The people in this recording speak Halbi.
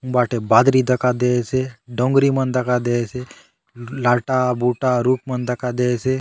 हुन बाटे बादरी दखा देयसे डोंगरी मन दखा देयसे लाटा - बुटा रूख मन दखा देयसे।